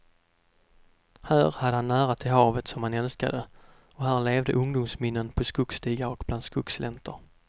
Här hade han nära till havet, som han älskade, och här levde ungdomsminnen på skogsstigar och bland skogsgläntor.